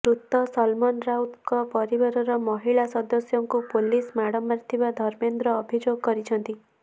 ମୃତ ସଲମନ ରାଉତଙ୍କ ପରିବାରର ମହିଳା ସଦସ୍ୟଙ୍କୁ ପୋଲିସ୍ ମାଡ଼ ମାରିଥିବା ଧର୍ମେନ୍ଦ୍ର ଅଭିଯୋଗ କରିଛନ୍ତି